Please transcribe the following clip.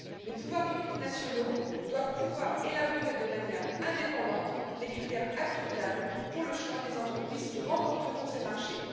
Les pouvoirs publics nationaux doivent pouvoir élaborer de manière indépendante les critères applicables pour le choix des entreprises qui remporteront ces marchés.